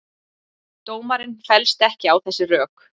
Dómarinn fellst ekki á þessi rök